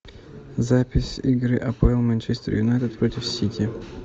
запись игры апл манчестер юнайтед против сити